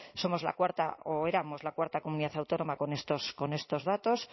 somos la cuarta o éramos la cuarta comunidad autónoma con estos datos